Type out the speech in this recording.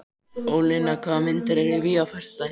Ólína, hvaða myndir eru í bíó á föstudaginn?